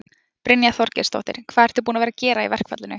Brynja Þorgeirsdóttir: Hvað ertu búinn að vera að gera í verkfallinu?